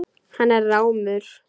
Hann er rámur.